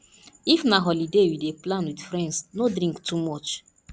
if na holiday you dey plan with friends no drink too much